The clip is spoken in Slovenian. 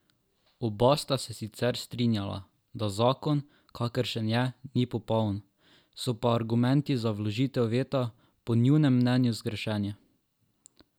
Oba sta se sicer strinjala, da zakon, kakršen je, ni popoln, so pa argumenti za vložitev veta po njunem mnenju zgrešeni.